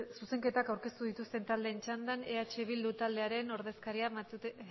zuzenketak aurkeztu dituzten taldeen txandan eh bildu taldearen ordezkaria